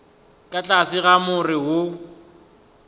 ka tlase ga more wo